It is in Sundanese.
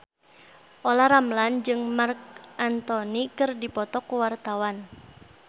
Olla Ramlan jeung Marc Anthony keur dipoto ku wartawan